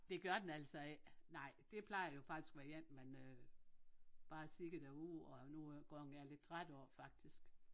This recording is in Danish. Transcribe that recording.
Det gør den altså ikke nej det plejer jo faktisk at være jenne man øh bare ser derude og nogle gange er lidt træt af faktisk